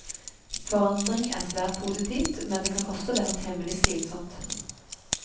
Forandring er svært positivt, men det kan også være temmelig slitsomt.